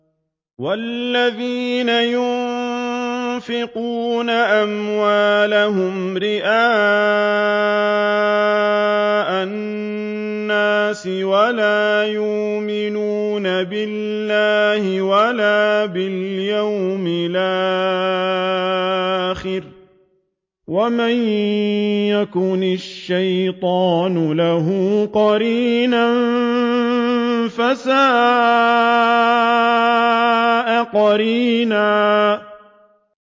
وَالَّذِينَ يُنفِقُونَ أَمْوَالَهُمْ رِئَاءَ النَّاسِ وَلَا يُؤْمِنُونَ بِاللَّهِ وَلَا بِالْيَوْمِ الْآخِرِ ۗ وَمَن يَكُنِ الشَّيْطَانُ لَهُ قَرِينًا فَسَاءَ قَرِينًا